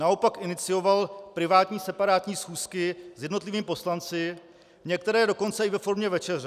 Naopak inicioval privátní, separátní schůzky s jednotlivými poslanci, některé dokonce i ve formě večeře.